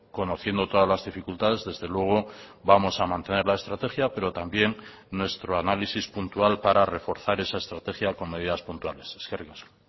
conociendo todas las dificultades desde luego vamos a mantener la estrategia pero también nuestro análisis puntual para reforzar esa estrategia con medidas puntuales eskerrik asko